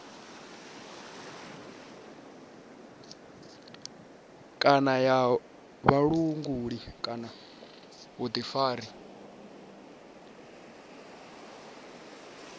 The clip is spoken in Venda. kana ya vhulanguli kana vhuḓifari